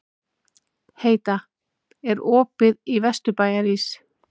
Heida, er opið í Vesturbæjarís?